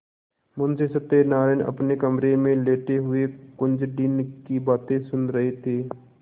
मुंशी सत्यनारायण अपने कमरे में लेटे हुए कुंजड़िन की बातें सुन रहे थे